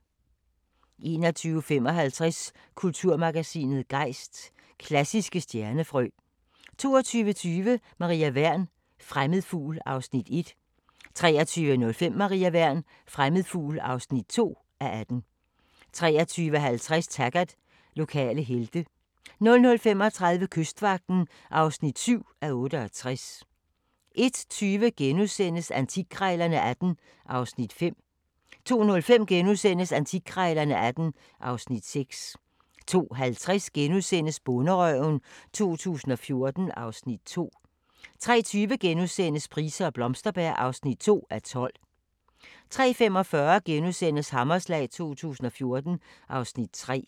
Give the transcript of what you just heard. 21:55: Kulturmagasinet Gejst: Klassiske stjernefrø 22:20: Maria Wern: Fremmed fugl (1:18) 23:05: Maria Wern: Fremmed fugl (2:18) 23:50: Taggart: Lokale helte 00:35: Kystvagten (7:68) 01:20: Antikkrejlerne XVIII (Afs. 5)* 02:05: Antikkrejlerne XVIII (Afs. 6)* 02:50: Bonderøven 2014 (Afs. 2)* 03:20: Price og Blomsterberg (2:12)* 03:45: Hammerslag 2014 (Afs. 3)*